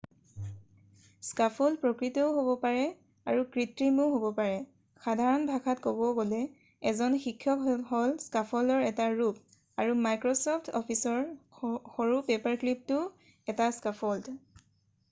scaffold প্ৰকৃতও হ'ব পাৰে আৰু কৃত্ৰিমও হ'ব পাৰে সাধাৰণ ভাষাত কব গ'লে এজন শিক্ষক হ'ল স্কাফল্ডৰ এটা ৰূপ আৰু মাইক্ৰচফ্ট অফিচৰ সৰু পেপাৰক্লিপটোও এটা স্কাফল্ড